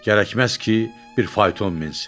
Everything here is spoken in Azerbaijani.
Gərəkməz ki, bir fayton minsin.